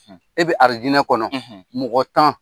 E bɛ aridinɛ kɔnɔ , mɔgɔ tan